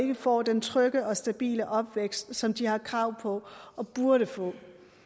ikke får den trygge og stabile opvækst som de har krav på og burde få